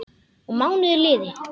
Og mánuðir liðu.